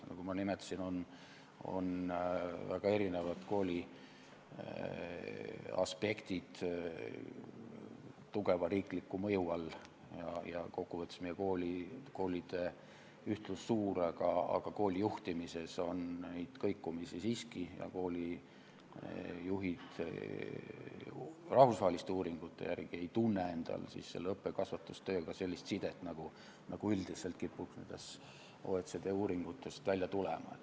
Nagu ma nimetasin, on väga erinevad kooli aspektid tugeva riikliku mõju all ja kokkuvõttes on meie koolide ühtlus suur, aga koolide juhtimises neid kõikumisi siiski on ja koolijuhid rahvusvaheliste uuringute järgi ei tunne õppe- ja kasvatustööga sellist sidet, nagu üldiselt kipub nendest OECD uuringutest välja tulema.